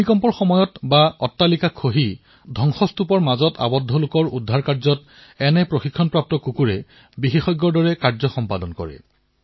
ভূমিকম্প আহিলে অট্টালিকা খহি পৰিলে জীৱিত লোক কৰবাত সোমাই পৰিলে তেওঁলোকক সন্ধান কৰি উলিওৱাৰ বাবে কুকুৰে বিশেষ ভূমিকা পালন কৰে